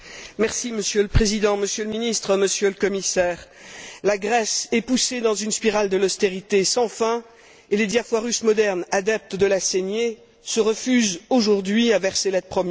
Monsieur le Président, Monsieur le Ministre, Monsieur le Commissaire, la Grèce est poussée dans une spirale de l'austérité sans fin et les Diafoirus modernes adeptes de la saignée se refusent aujourd'hui à verser l'aide promise.